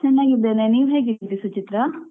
ಚೆನ್ನಾಗಿದ್ದೇನೆ ನೀವ್ ಹೇಗಿದ್ದೀರ ಸುಚಿತ್ರಾ ?